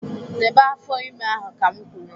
Debe afọ ime ahụ ka m kwuru